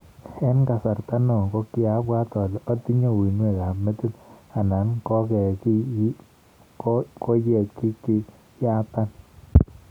En kasrta neo kogiabwat ole otinye uinweek ab metit anan koyegigiyatan.